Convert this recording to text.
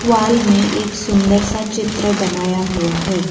पाल में एक सुंदर सा चित्र बनाया हुआ है।